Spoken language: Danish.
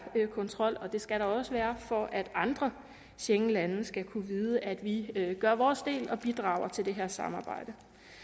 kontrol og det skal der også være for at andre schengenlande skal kunne vide at vi gør vores del og bidrager til det her samarbejde